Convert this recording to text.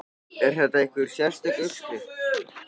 Er þetta einhver sérstök uppskrift?